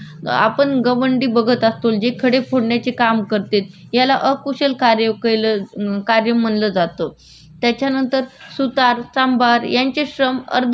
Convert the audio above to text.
त्याच्यानंतर सुतार चांभार यांचे श्रम अर्धकुशल श्रमात मोडमोडण्यात येतात. व्यक्तीला त्याचा ज्याच्या त्याच्या कौशल्यानुसार वेतन किंवा मोबदला मिळतो